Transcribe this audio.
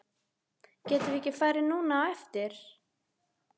Getum við ekki farið núna á eftir?